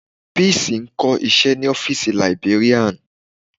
Peace ń kọ́ iṣẹ́ ní ọ́fìsì librarian.